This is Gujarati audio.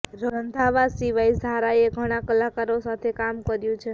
રંધાવા સિવાય ઝારાએ ઘણા કલાકારો સાથે કામ કર્યું છે